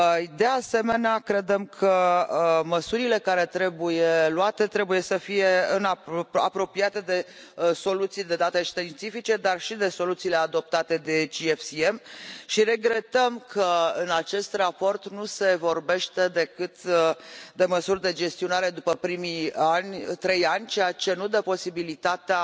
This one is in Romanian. De asemenea, credem că măsurile care trebuie luate trebuie să fie apropiate de soluții de date științifice dar și de soluțiile adoptate de GFCM și regretăm că în acest raport nu se vorbește decât de măsuri de gestionare după primii trei ani, ceea ce nu dă posibilitatea